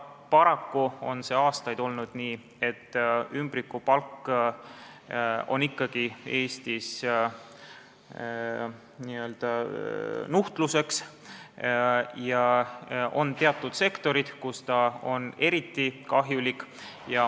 Paraku on aastaid olnud nii, et ümbrikupalk on ikkagi Eestis n-ö nuhtluseks ja on teatud sektorid, kus ta on eriti kahjulik.